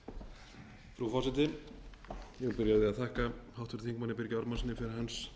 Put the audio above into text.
að þakka háttvirtum þingmanni birgi ármannssyni fyrir hans